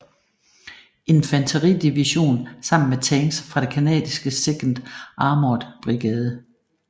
Infanteridivision sammen med tanks fra den canadiske 2nd Armored Brigade